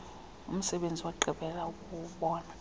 umsebenzisi wagqibela ukubonwa